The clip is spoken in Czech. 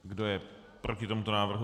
Kdo je proti tomuto návrhu?